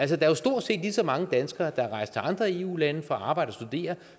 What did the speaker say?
der er jo stort set lige så mange danskere der rejser til andre eu lande for at arbejde og studere